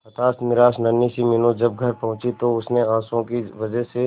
हताश निराश नन्ही सी मीनू जब घर पहुंची तो उसके आंसुओं की वजह से